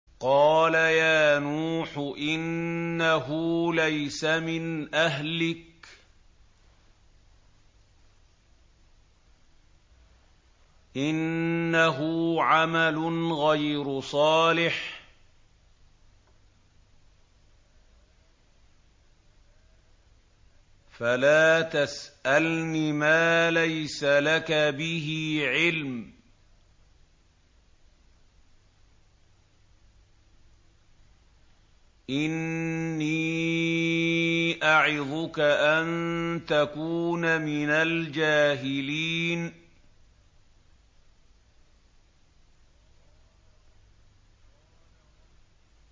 قَالَ يَا نُوحُ إِنَّهُ لَيْسَ مِنْ أَهْلِكَ ۖ إِنَّهُ عَمَلٌ غَيْرُ صَالِحٍ ۖ فَلَا تَسْأَلْنِ مَا لَيْسَ لَكَ بِهِ عِلْمٌ ۖ إِنِّي أَعِظُكَ أَن تَكُونَ مِنَ الْجَاهِلِينَ